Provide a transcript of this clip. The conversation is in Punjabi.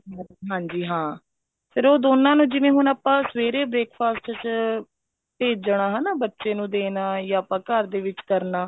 ਹਾਂਜੀ ਹਾਂ ਫ਼ੇਰ ਉਹ ਦੋਨਾ ਨੂੰ ਜਿਵੇਂ ਹੁਣ ਆਪਾਂ ਸਵੇਰੇ breakfast ਚ ਭੇਜਣਾ ਹਨਾ ਬੱਚੇ ਨੂੰ ਦੇਣਾ ਜਾਂ ਆਪਾਂ ਘਰ ਦੇ ਵਿੱਚ ਕਰਨਾ